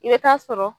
I bɛ taa sɔrɔ